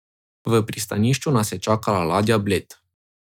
V pristanišču nas je čakala ladja Bled.